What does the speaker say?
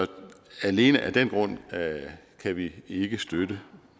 alene af den grund kan vi ikke støtte